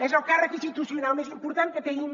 és el càrrec institucional més important que tenim